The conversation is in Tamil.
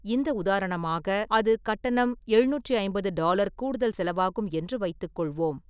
இந்த உதாரணமாக, அது கட்டணம் எழுநூற்றி ஐம்பது டாலர் கூடுதல் செலவாகும் என்று வைத்துக் கொள்வோம்.